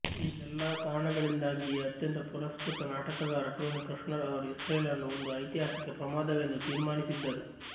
ಈ ಎಲ್ಲಾ ಕಾರಣಗಳಿಂದಾಗಿಯೇ ಅತ್ಯಂತ ಪುರಸ್ಕೃತ ನಾಟಕಕಾರ ಟೋನಿ ಕೃಶ್ನರ್ ಅವರು ಇಸ್ರೇಲನ್ನು ಒಂದು ಐತಿಹಾಸಿಕ ಪ್ರಮಾದವೆಂದು ತೀರ್ಮಾನಿಸಿದ್ದರು